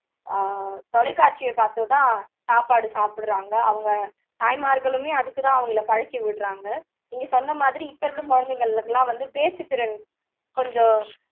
ஆஹ் தொலைக்காட்சியை பாத்தோ தான் சாப்பாடு சாப்புடுறாங்க அவங்க தாய்மார்களுமே அதுக்கு தான் அவங்களை பழக்கி விடுறாங்க நீங்க சொன்ன மாதிரி இப்போ இருக்க குழந்தைங்களுக்கு எல்லாம் பேச்சுத் திறன் கொஞ்சம்